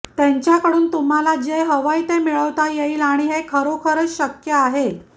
त्यांच्याकडून तुम्हाला जे हवंय ते मिळवता येईल आणि हे खरोखरच शक्य आहे